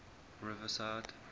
riverside